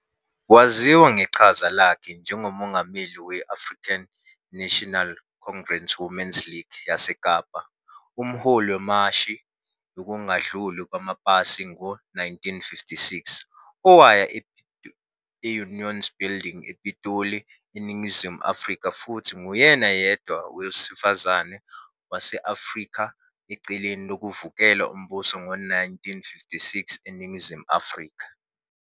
Waziwa ngeqhaza lakhe njengoMongameli we- African National Congress Women's League yaseKapa, umholi wemashi yokungadluli kwamapasi ngo-1956 owaya e-Union Buildings ePitoli, eNingizimu Afrika futhi nguyena yedwa owesifazane wase-Afrika ecaleni lokuvukela umbuso ngo-1956 eNingizimu Afrika.